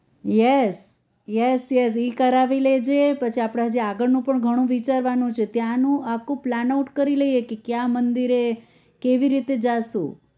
yes yes yes ઈ કરાવી લેજે પછી આપણે હજી આગળનું પણ ઘણું વિચારવાનું છે ત્યાનું આખું plan out કરી લઈએ કે ક્યાં મંદિરે કેવી રીતે જાશું